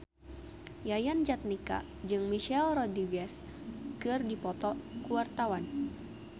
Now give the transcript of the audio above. Yayan Jatnika jeung Michelle Rodriguez keur dipoto ku wartawan